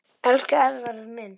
Elsku Eðvarð minn.